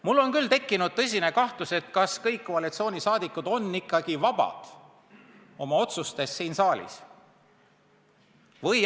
Mul on tekkinud tõsine kahtlus, kas nad kõik on ikka oma otsustes siin saalis vabad.